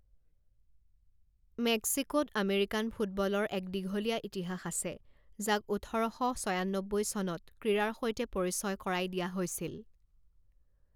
মেক্সিকোত American ফুটবলৰ এক দীঘলীয়া ইতিহাস আছে, যাক ওঠৰ শ ছয়ান্নব্বৈ চনত ক্ৰীড়াৰ সৈতে পৰিচয় কৰাই দিয়া হৈছিল।